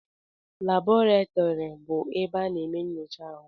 Laboratori bụ ebe a na-eme nyocha ahụ.